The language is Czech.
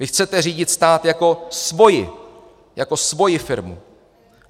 Vy chcete řídit stát jako svoji - jako svoji firmu.